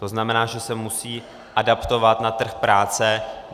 To znamená, že se musí adaptovat na trh práce.